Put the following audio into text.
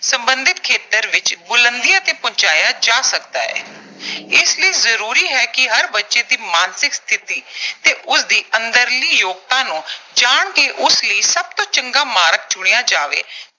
ਸਬੰਧਿਤ ਖੇਤਰ ਦੇ ਵਿੱਚ ਬੁਲੰਦੀਆਂ ਤੇ ਪਹੁੰਚਾਇਆ ਜਾ ਸਕਦਾ ਹੈ। ਇਸ ਲਈ ਜ਼ਰੂਰੀ ਹੈ ਕਿ ਹਰ ਬੱਚੇ ਦੀ ਮਾਨਸਿਕ ਸਥਿਤੀ ਤੇ ਉਸਦੀ ਅੰਦਰਲੀ ਯੋਗਤਾ ਨੂੰ ਜਾਣ ਕੇ ਉਸ ਲਈ ਸਭ ਤੋਂ ਚੰਗਾ ਮਾਰਗ ਚੁਣਿਆ ਜਾਵੇ।